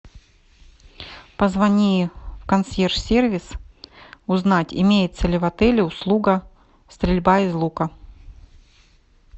позвони в консьерж сервис узнать имеется ли в отеле услуга стрельба из лука